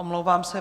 Omlouvám se.